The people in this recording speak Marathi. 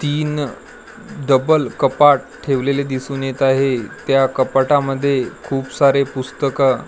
तीन डब्बल कपाट ठेवलेले दिसून येत आहे त्या कपाटामध्ये खूप सारे पुस्तकं --